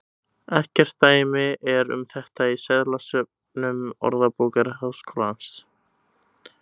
Ekkert dæmi er um þetta í seðlasöfnum Orðabókar Háskólans.